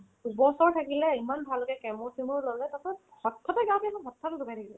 দুবছৰ থাকিলে ইমান ভালকে chemo চেমো ল'লে তাৰ পাছত হঠাতে গা বেয়া লাগিলে হঠাতে ঢুকাই থাকিলে